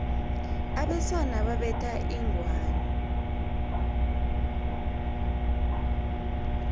abesana babetha inghwani